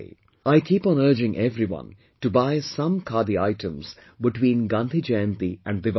I keep on urging everyone to buy some khadi items between Gandhi Jayanti to Diwali